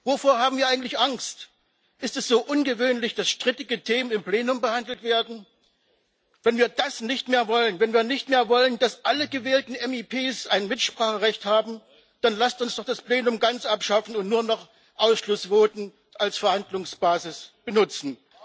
Wovor haben wir eigentlich Angst? Ist es so ungewöhnlich, dass strittige Themen im Plenum behandelt werden? Wenn wir das nicht mehr wollen, wenn wir nicht mehr wollen, dass alle gewählten MdEP ein Mitspracherecht haben, dann lasst uns doch das Plenum ganz abschaffen und nur noch Ausschussvoten als Verhandlungsbasis benutzen!